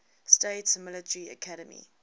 states military academy